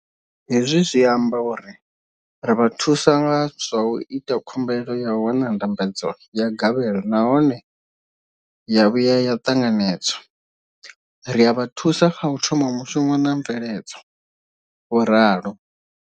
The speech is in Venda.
Hezwi zwi amba uri ri vha thusa nga zwa u ita khumbelo ya u wana ndambedzo ya gavhelo nahone ya vhuya ya ṱanganedzwa, ri a vha thusa kha u thoma mushumo na mveledzo, vho ralo.